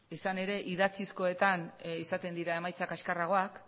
izan ere idatzizkoetan izaten dira emaitza kaskarragoak